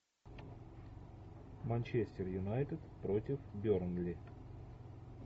манчестер юнайтед против бернли